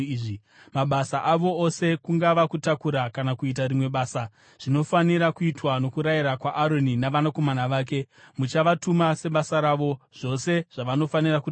Mabasa avo ose kungava kutakura kana kuita rimwe basa, zvinofanira kuitwa nokurayira kwaAroni navanakomana vake. Muchavatuma sebasa ravo zvose zvavanofanira kutakura.